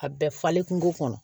A bɛɛ falen kungo kɔnɔ